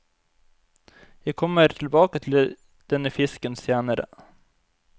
Jeg kommer tilbake til denne fisken senere.